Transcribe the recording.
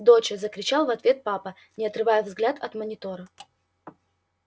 доча закричал в ответ папа не отрывая взгляд от монитора